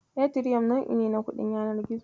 Etiriyom nau'i ne na kuɗin yanar gizo.